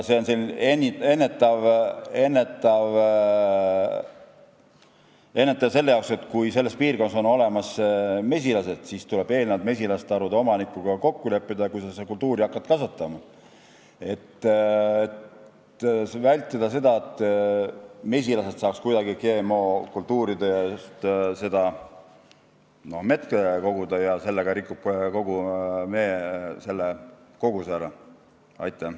See on ennetav meede selle jaoks, et kui selles piirkonnas on olemas mesilased, siis tuleb enne, kui seda kultuuri kasvatama hakata, mesilastarude omanikuga kokku leppida, et vältida seda, et mesilased saaks GM-kultuurilt mett koguda ja sellega kogu meekoguse ära rikkuda.